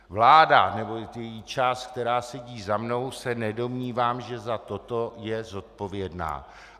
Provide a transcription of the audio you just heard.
Vláda nebo její část, která sedí za mnou, se nedomnívám, že za toto je zodpovědná.